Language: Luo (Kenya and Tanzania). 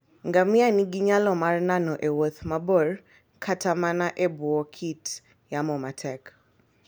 Ngamia nigi nyalo mar nano e wuoth mabor kata mana e bwo kit yamo matek.